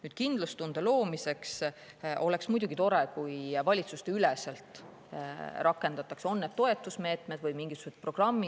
Nüüd, kindlustunde loomiseks oleks muidugi tore, kui valitsusteüleselt rakendatakse toetusmeetmeid või tehakse mingisuguseid programme.